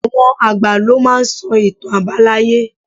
Àwọn àgbà lo máa n sọ ìtàn àbáláyé